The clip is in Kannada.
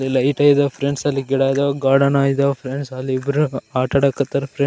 ಇಲ್ಲಿ ಲೈಟ್ ಇದಾವ ಫ್ರೆಂಡ್ಸ್ ಅಲ್ಲಿ ಗಿಡ ಗಾರ್ಡನ್ ಅದಾವ ಫ್ರೆಂಡ್ಸ್ ಅಲ್ಲಿ ಇಬ್ರು ಆಟಾಡ ಕತ್ತಾವ ಫ್ರೆಂಡ್ಸ್ .